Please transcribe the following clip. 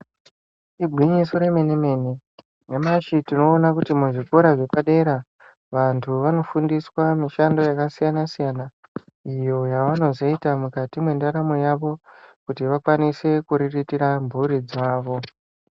Igwinyiso remenemene nyamashi tinoona kuti muzvikora zvepadera vandu vanofundiswa mushando yakasiyana siyana iyo yavanozoita mukati mwendaramo yavo kuti vakwanise kuriritira mburi dzavo.